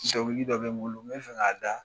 dɔ bɛ n bolo n bɛ fɛ k'a da.